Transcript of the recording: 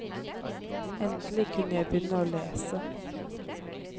Endelig kunne jeg begynne å lese.